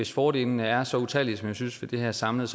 hvis fordelene er så utallige som jeg synes de er samlet